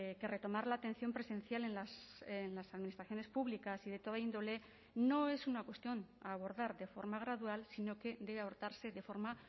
que retomar la atención presencial en las administraciones públicas y de toda índole no es una cuestión a abordar de forma gradual sino que debe adoptarse de forma